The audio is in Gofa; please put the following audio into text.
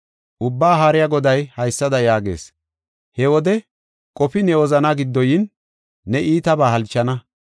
Ubbaa Haariya Goday haysada yaagees: “He wode qofi ne wozana giddo yin, ne iitabaa halchana.